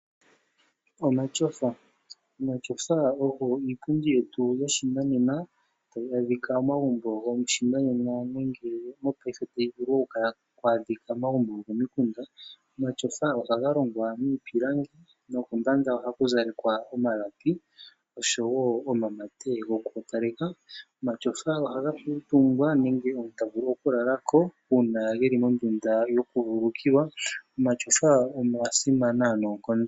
Omatyofa, omatyofa oyo iipundi yetu yoshinanena hayi adhika momagumbo goshinanena nenge methimbolyopaife ohayi vulu okwaadhika komagumbo gokomikunda. Omatyofa oha longwa miipilangi nokombanda taku zalelwa omalapi oshowoomamate gokugoopaleka. Omatyofa ohaga kuutumbwa, nenge haga lalwa uuna geli mondunda yokuvululukilwa. Omatyofa oga simana noonkondo.